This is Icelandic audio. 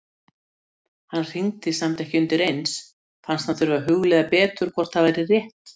Hann hringdi samt ekki undireins, fannst hann þurfa að hugleiða betur hvort það væri rétt.